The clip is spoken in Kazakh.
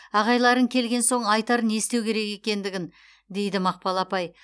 ағайларың келген соң айтар не істеу екендігін дейді мақпал апай